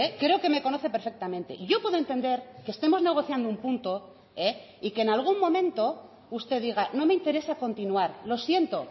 creo que me conoce perfectamente y yo puedo entender que estemos negociando un punto y que en algún momento usted diga no me interesa continuar lo siento